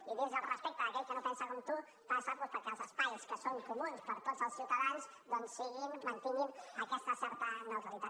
i el respecte d’aquell que no pensa com tu passa doncs perquè els espais que són comuns per a tots els ciutadans mantinguin aquesta certa neutralitat